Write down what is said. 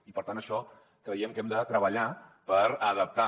i per tant creiem que hem de treballar per adap·tar